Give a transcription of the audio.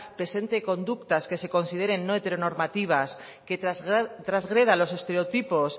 presente conductas que se consideren no heteronormativas que trasgreda los estereotipos